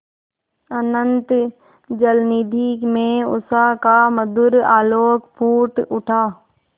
अनंत जलनिधि में उषा का मधुर आलोक फूट उठा